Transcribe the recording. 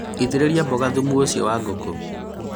ĩtĩrĩria mboga thumu ũcio wa ngũkũ